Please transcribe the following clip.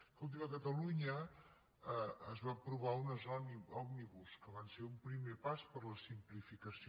escolti’m a catalunya es van aprovar unes òmnibus que van ser un primer pas per a la simplificació